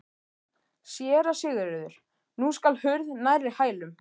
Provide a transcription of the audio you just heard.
SÉRA SIGURÐUR: Nú skall hurð nærri hælum.